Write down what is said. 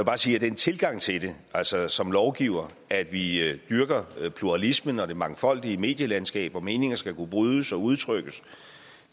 bare sige at den tilgang til det altså som lovgiver at vi dyrker pluralismen og det mangfoldige medielandskab hvor meninger skal kunne brydes og udtrykkes